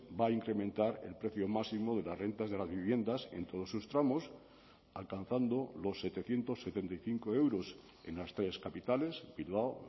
va a incrementar el precio máximo de las rentas de las viviendas en todos sus tramos alcanzando los setecientos setenta y cinco euros en las tres capitales bilbao